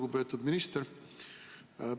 Lugupeetud minister!